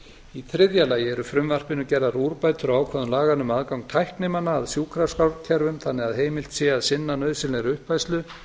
í þriðja lagi eru í frumvarpinu gerðar úrbætur á ákvæðum laganna um aðgang tæknimanna að sjúkraskrárkerfum þannig að heimilt sé að sinna nauðsynlegri uppfærslu